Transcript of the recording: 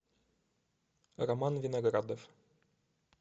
роман виноградов